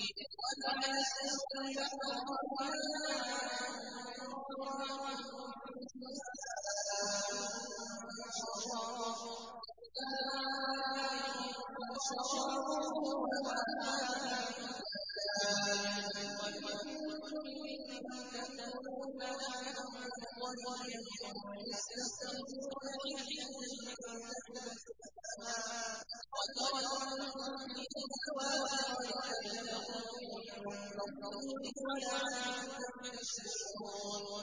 وَمَا يَسْتَوِي الْبَحْرَانِ هَٰذَا عَذْبٌ فُرَاتٌ سَائِغٌ شَرَابُهُ وَهَٰذَا مِلْحٌ أُجَاجٌ ۖ وَمِن كُلٍّ تَأْكُلُونَ لَحْمًا طَرِيًّا وَتَسْتَخْرِجُونَ حِلْيَةً تَلْبَسُونَهَا ۖ وَتَرَى الْفُلْكَ فِيهِ مَوَاخِرَ لِتَبْتَغُوا مِن فَضْلِهِ وَلَعَلَّكُمْ تَشْكُرُونَ